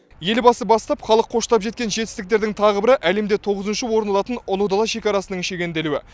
елбасы бастап халық қоштап жеткен жетістіктердің тағы бірі әлемде тоғызыншы орын алатын ұлы дала шекарасының шегенделуі